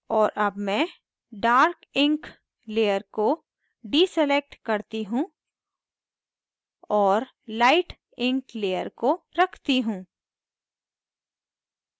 और अब मैं dark ink layer को deselect करती हूँ और light ink layer को रखती हूँ